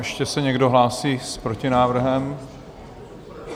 Ještě se někdo hlásí s protinávrhem?